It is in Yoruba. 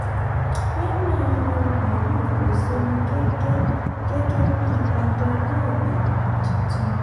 wema yan moruf oseni gẹ́gẹ́ gẹ́gẹ́ bí adarí àgbà um tuntun.